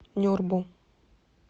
нюрбу